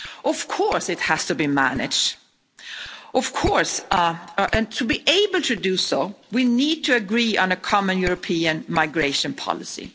Of course, it has to be managed, and to be able to do so we need to agree on a common European migration policy.